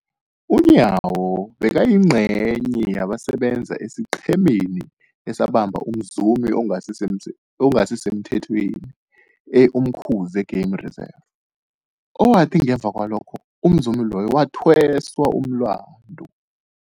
UNyawo bekayingcenye yabasebenza esiqhemeni esabamba umzumi ongasisemthethweni e-Umkhuze Game Reserve, owathi ngemva kwalokho umzumi loyo wathweswa umlandu.